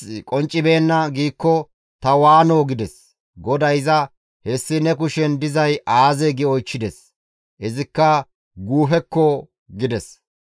GODAY iza, «Hessi ne kushen dizay aazee?» gi oychchides. Izikka, «Guufekko» gides.